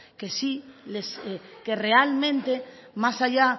que realmente más allá